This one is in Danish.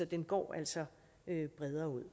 den går altså bredere ud